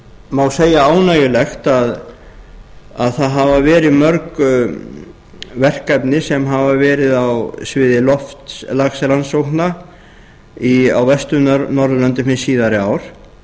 má segja ánægjulegt að það hafa verið mörg verkefni sem hafa verið á sviði loftslagsrannsókna á vestur norðurlöndum hin síðari ár